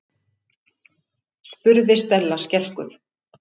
spurði Stella skelkuð.